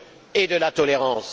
et de la tolérance.